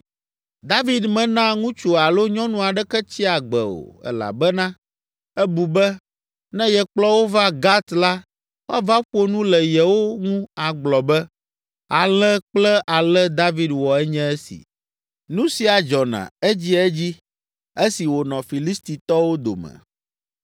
David mena ŋutsu alo nyɔnu aɖeke tsia agbe o, elabena ebu be, ne yekplɔ wo va Gat la, woava ƒo nu le yewo ŋu agblɔ be, “Ale kple ale David wɔ enye esi.” Nu sia dzɔna edziedzi esi wònɔ Filistitɔwo dome.